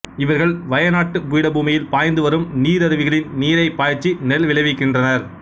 இவர்கள் வய நாட்டுப் பீடபூமியில் பாய்ந்துவரும் நீரருவிகளின் நீரைப்பாய்ச்சி நெல் விளைவிக்கின்றனர்